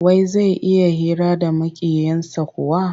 Wai zai iya hira da Maƙiyinsa kuwa?